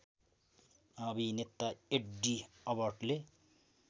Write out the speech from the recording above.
अभिनेता एड्डी अलबर्टले